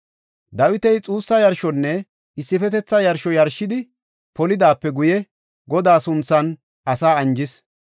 Dawiti xuussa yarshonne issifetetha yarsho yarshidi polidaape guye Godaa sunthan asaa anjis.